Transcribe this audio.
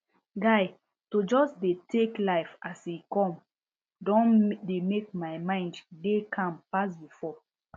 guy to just dey tek life as e come don dey mek my mind dey calm pass before